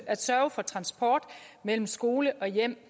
at sørge for transport mellem skole og hjem